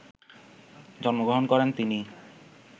জন্মগ্রহণ করেন তিনি